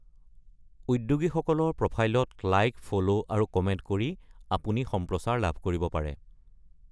উদ্যোগীসকলৰ প্ৰফাইলত like, follow, আৰু কমেন্ট কৰি আপুনি সম্প্ৰচাৰ লাভ কৰিব পাৰে।